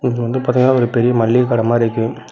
இது வந்து பாத்தீங்ன்னா ஒரு பெரிய மல்லிக கட மாரி இருக்கு.